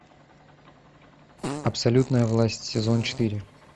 абсолютная власть сезон четыре